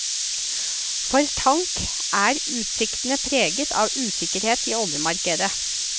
For tank er utsiktene preget av usikkerhet i oljemarkedet.